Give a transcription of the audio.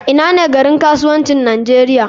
Ina ne garin kasuwancin nigeria?